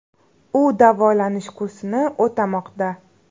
U davolanish kursini o‘tamoqda.